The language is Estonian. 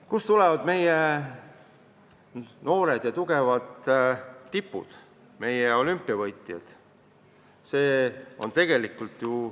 Kust tulevad meie noored ja tugevad tipud, meie olümpiavõitjad?